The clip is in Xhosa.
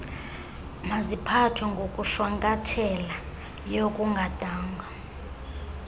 maziphathwe ngokushwankathelayo kungadanga